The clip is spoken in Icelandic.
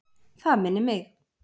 Það minnir mig.